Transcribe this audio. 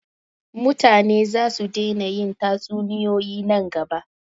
mutane za su dena yin tatsuniyoyi nan gaba